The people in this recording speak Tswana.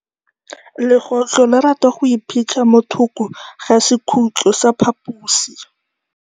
Legôtlô le rata go iphitlha mo thokô ga sekhutlo sa phaposi.